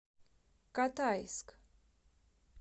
катайск